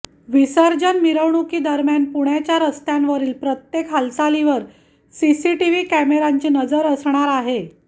विसर्जन मिरवणूकीदरमान पुण्याच्या रस्त्यांवरील प्रत्येक हालचालीवर सीसीटीव्ही कॅमेऱ्यांची नजर असणार आहे